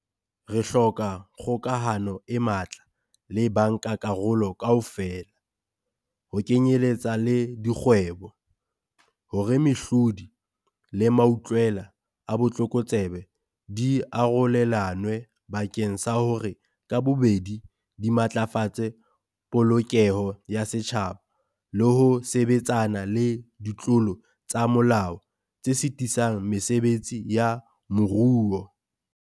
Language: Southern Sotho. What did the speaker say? Re hloka kgokahano e matla le bankakarolo kaofela, ho kenyeletsa le dikgwebo, hore mehlodi le mautlwela a botlokotsebe di arolelanwe bakeng sa hore ka bobedi di matlafatse polokeho ya setjhaba le ho sebetsana le ditlolo tsa molao tse sitisang mesebetsi ya moruo.